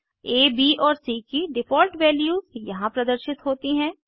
आ ब और सी की डिफ़ॉल्ट वैल्यूज यहाँ प्रदर्शित होती हैं